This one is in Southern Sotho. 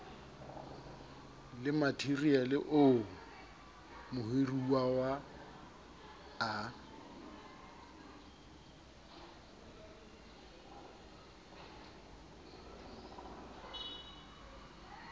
le matheriale oo mohiruwa a